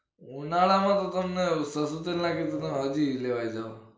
ઉનાળા તો તમને સરસું તેલ નાખી હજી લેવાઈ જાઓ